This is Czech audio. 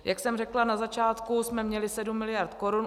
Jak jsem řekla, na začátku jsme měli 7 miliard korun.